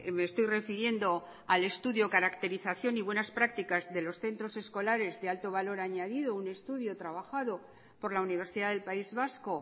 me estoy refiriendo al estudio caracterización y buenas prácticas de los centros escolares de alto valor añadido un estudio trabajado por la universidad del país vasco